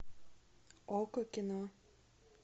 окко кино